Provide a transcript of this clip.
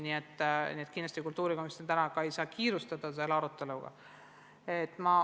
Nii et kindlasti ei saa kultuurikomisjon praegu selle aruteluga kiirustada.